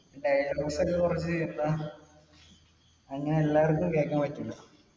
അങ്ങിനെ എല്ലാവർക്കും കേക്കാൻ പറ്റൂല.